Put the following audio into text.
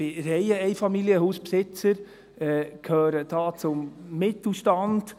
Ich bin Reiheneinfamilienhausbesitzer, gehöre da zum Mittelstand.